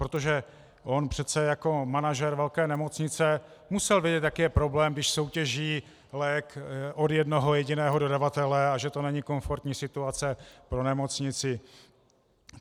Protože on přece jako manažer velké nemocnice musel vědět, jaký je problém, když soutěží lék od jednoho jediného dodavatele, a že to není komfortní situace pro nemocnici.